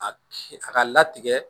A a ka latigɛ